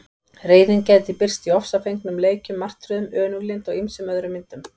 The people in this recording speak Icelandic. Reiðin gæti birst í ofsafengnum leikjum, martröðum, önuglyndi og ýmsum öðrum myndum.